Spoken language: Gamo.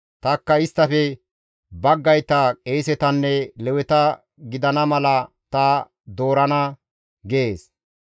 Tanikka isttafe baggayta qeesetanne Leweta gidana mala ta doorana» gees.